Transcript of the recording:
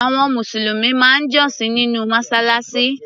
Àwọn Mùsùlùmí máa ń jọ́sìn nínú Mọ́ṣáláṣí.